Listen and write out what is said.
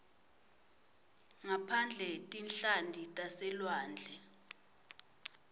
ngaphandle tinhlanti taselwandle